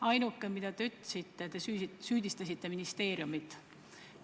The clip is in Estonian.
Ainuke asi, mida te ütlesite, oli see, et te süüdistasite ministeeriumit.